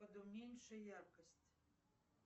подуменьши яркость